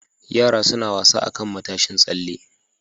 Yara suna wasa akan matashin tsalle.